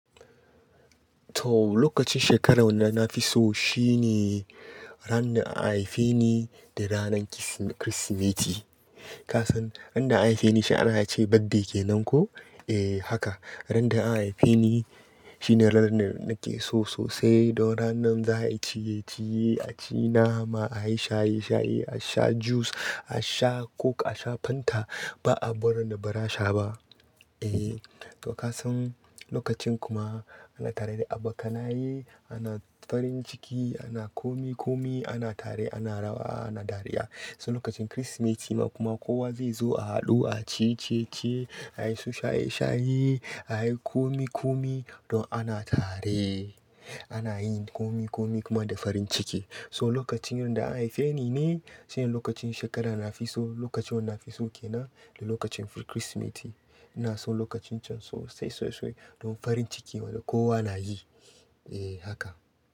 Toh, lokacin shekarar wanda na fi so shine ranar da an haife ni da ranar Krisimeti. Ka san ran da an haife ni shine ana yi ce birthday ke nan ko? Eh haka. Ran da an haife ni shine ran da nake so sosai. Don ranan za a yi ciye-ciye, a ci nama, a yi shaye-shaye, a sha juice, a sha coke, a sha Fanta. Ba'a bar randa ba rasha ba. Eh, toh ka san lokacin kuma ana tare da abokanaye, ana farin ciki, ana komi-komi, ana tare, ana rawa, ana dariya. So lokacin Krisimeti ma kuma kowa zai zo a haɗu, a ci ciye-ciye, a yi su shaye shayi, a yi komi-komi don ana tare. Ana yin komi-komi kuma da farin ciki. So lokacin ran da an haife ni ne shine lokacin shekara na fi so. Lokacin wanda na fi so ke nan da lokacin Kirsimeti. Ina son lokacin can sosai sosai don farin ciki wanda kowa na yi. Eh haka.